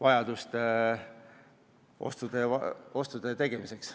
Aivar Sõerd, palun!